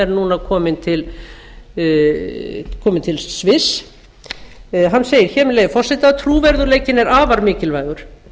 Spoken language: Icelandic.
núna kominn til sviss hann segir hér með leyfi forseta trúverðugleikinn er afar mikilvægur